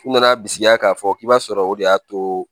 U nana bisikiya k'a fɔ k'i b'a sɔrɔ o de y'a to